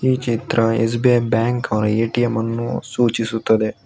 ಈ ಚಿತ್ರ S B I bank A T M ಅನ್ನು ಸೂಚಿಸುತ್ತದೆ.